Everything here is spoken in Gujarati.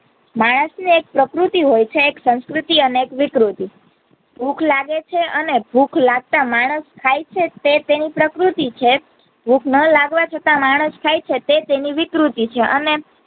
માણસ એક પ્રકૃતિ હોય છે એક સંસ્કૃતિ અને એક વિકૃતિ ભૂખ લાગે છે અને ભૂખ લગતા માણસ ખાઈ છે તે કહી પ્રકૃતિ છે ભૂખ ન લાગવા છતાં માણસ ખાઈ શકે તે વિકૃતિ છે અને